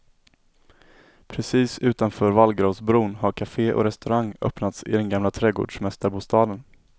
Precis utanför vallgravsbron har café och restaurang öppnats i den gamla trädgårdsmästarbostaden.